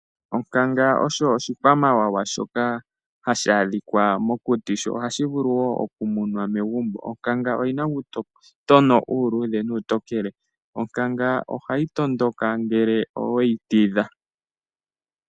Onkanga osho oshikwamawawa shoka tashi adhika mokuti sho ohashi vulu woo okumunwa megumbo. Onkanga oyi na uutotono uuluudhe nuutokele, onkanga ohayi tondoka ngele oweyi tidha.